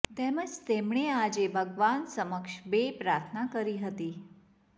તેમજ તેમણે આજે ભગવાન સમક્ષ બે પ્રાર્થના કરી હતી